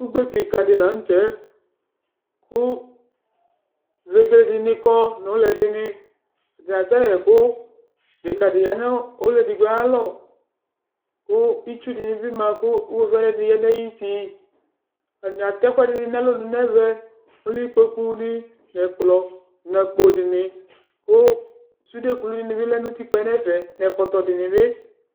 Ugbe kika di la nu tɛ Ku vege dini kɔ nu ulɛ dini kasɛyɛku Deka di ya nu ɔlu edigbo ayu alɔ Ku itsu dini bi ma ku uɣovidini ya nu ayu uti Atani atɛ ɛku ɛdini nu alɔnu nu ɛvɛ ɔwlikpokuni nu ɛkplɔ nu akpodini ku sude kulu dini bi ya nu utikpa nu ɛfɛ nu ɛkɔtɔ dini ni